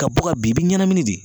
Ka bɔ ka bin i bi ɲanamini de.